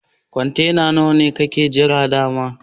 Kwantena nawa ne kakke jira da'ma?